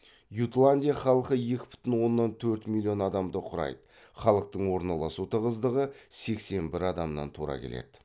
ютландия халқы екі бүтін оннан төрт миллион адамды құрайды халықтың орналасу тығыздығы сексен бір адамнан тура келеді